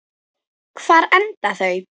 Hvar enda þau?